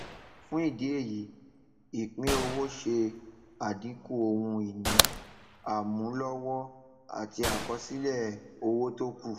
fún ìdí èyí ìpínowó ṣe àdínkù ohun ìní àmúlọwọ àti àkọsílẹ owó tókù